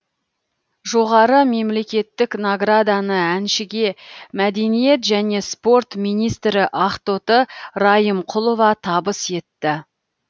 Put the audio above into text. жоғары мемлекеттік награданы әншіге мәдениет және спорт министрі ақтоты райымқұлова табыс етті